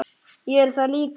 Ég er það líka.